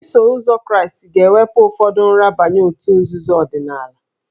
Iso ụzọ Kraịst ga-ewepụ ụfọdụ nrabaye òtù nzuzo ọdịnala